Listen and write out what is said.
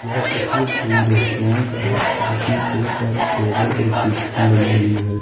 यह तस्वीर कोई रेस्तरां का है जिसमें कई सारे टेबल और कुर्सियां लगी हुई है।